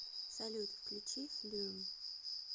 салют включи флюм